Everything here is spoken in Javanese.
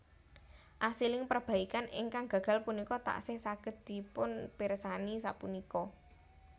Asiling perbaikan ingkang gagal punika tasih saged dipunpirsani sapunika